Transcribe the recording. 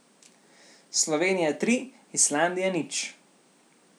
Slovenija tri, Islandija nič.